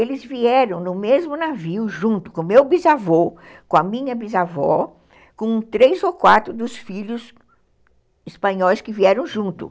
Eles vieram no mesmo navio, junto com o meu bisavô, com a minha bisavó, com três ou quatro dos filhos espanhóis que vieram junto.